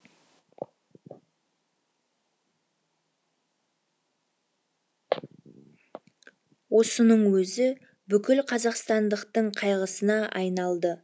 осының өзі бүкіл қазақстандықтың қайғысына айналды